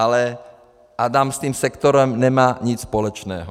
Ale Adam s tím sektorem nemá nic společného.